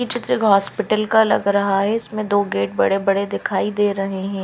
ये चित्र एक हॉस्पिटल का लग रहा है इसमें दो गेट बड़े बड़े दिखाई दे रहे है।